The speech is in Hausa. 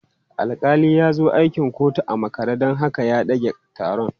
Alƙali ya zo akin kotun a makare don haka ya ɗage taron.